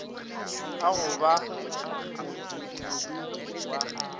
a go ba modudi wa